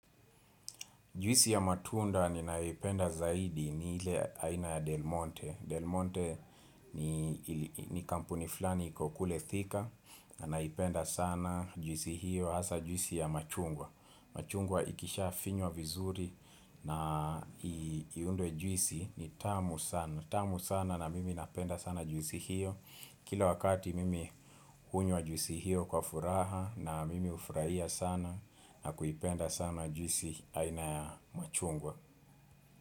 Juisi ya matunda ninayoipenda zaidi ni ile aina ya Del Monte. Del Monte ni kampuni fulani iko kule Thika na naipenda sana juisi hiyo hasa juisi ya machungwa. Machungwa ikishafinywa vizuri na iunde juisi ni tamu sana tamu sana na mimi napenda sana juisi hiyo Kila wakati mimi hunywa juisi hiyo kwa furaha na mimi hufurahia sana na kuipenda sana juisi aina ya machungwa.